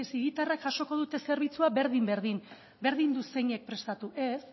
hiritarrari ez hiritarrak jasoko du zerbitzua berdin berdin berdin du zeinek prestatu ez